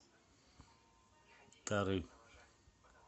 тары